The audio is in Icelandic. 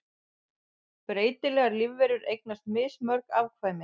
Breytilegar lífverur eignast mismörg afkvæmi.